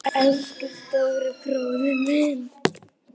Elsku stóri bróðir.